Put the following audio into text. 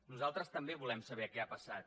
nosaltres també volem saber què ha passat